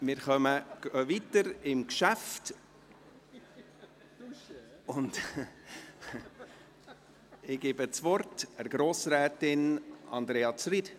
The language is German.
Wir fahren weiter mit dem Geschäft, und ich gebe das Wort Grossrätin Andrea Zryd.